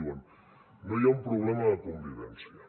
diuen no hi ha un problema de convivència